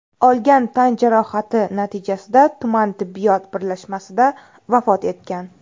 olgan tan-jarohati natijasida tuman tibbiyot birlashmasida vafot etgan.